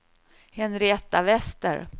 Henrietta Wester